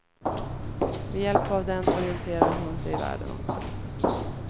Med hjälp av den orienterar hon sig i världen också.